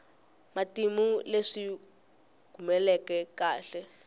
matimu hi leswi humeleleke khale